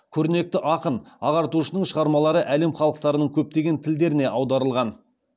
көрнекті ақын ағартушының шығармалары әлем халықтарының көптеген тілдеріне аударылған